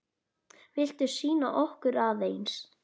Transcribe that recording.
Viltu sýna okkur aðeins?